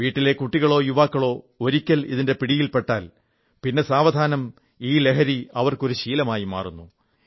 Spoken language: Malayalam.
വീട്ടിലെ കുട്ടികളോ യുവാക്കളോ ഒരിക്കൽ ഇതിന്റെ പിടിയിൽ പെട്ടാൽ പിന്നെ സാവധാനം ഈ ലഹരി അവർക്കൊരു ശീലമായി മാറുന്നു